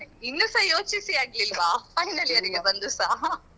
ಇನ್ನುಸ ಯೋಚಿಸಿ ಆಗ್ಲಿಲ್ವಾ final year ಇಗೆ ಬಂದುಸ